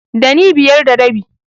Ɗani biyar da rabi.